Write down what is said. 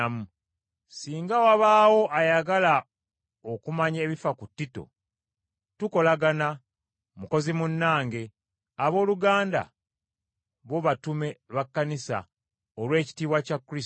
Singa wabaawo ayagala okumanya ebifa ku Tito, tukolagana, mukozi munnange; abooluganda, bo batume ba kkanisa, olw’ekitiibwa kya Kristo.